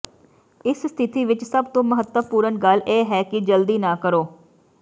ਇਸ ਸਥਿਤੀ ਵਿਚ ਸਭ ਤੋਂ ਮਹੱਤਵਪੂਰਣ ਗੱਲ ਇਹ ਹੈ ਕਿ ਜਲਦੀ ਨਾ ਕਰੋ